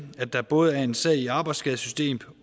at der både er en sag i arbejdsskadesystemet